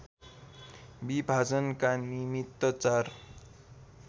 विभाजनका निमित्त चार